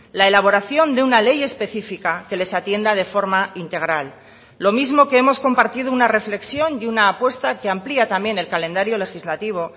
la elaboración de una ley específica que les atienda de forma integral lo mismo que hemos compartido una reflexión y una apuesta que amplía también el calendario legislativo